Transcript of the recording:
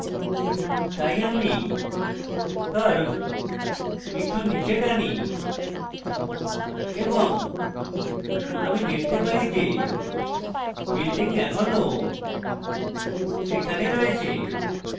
তাই আমি curve একটু নীচে টানি এবং আমি দেখতে পারি যে building এখনও সেখানে রয়েছে